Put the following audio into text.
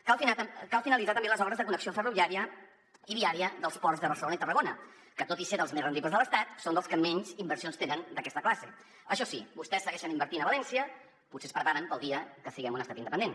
cal finalitzar també les obres de connexió ferroviària i viària dels ports de barcelona i tarragona que tot i ser dels més rendibles de l’estat són dels que menys inversions tenen d’aquesta classe això sí vostès segueixen invertint a valència potser es preparen per al dia que siguem un estat independent